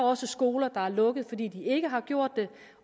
også skoler der er lukket fordi de ikke har gjort det